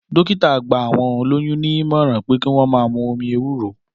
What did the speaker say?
Dọ̀kítà gba àwọn òlòyún ni ìmọ̀ran pẹ ki won mà mù òmí èwúrò